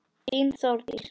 Þín Þórdís.